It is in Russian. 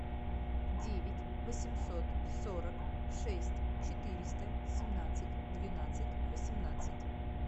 девять восемьсот сорок шесть четыреста семнадцать двенадцать восемнадцать